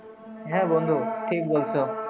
হ্যাঁ বন্ধু ঠিক বলছো।